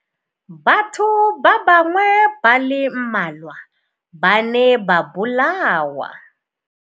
Batho ba bangwe ba le mmalwa ba ne ba bolawa.